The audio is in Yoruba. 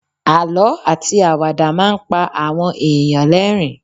Àlọ́ àti àwàdà máa ń pa àwọn èèyàn l'ẹrin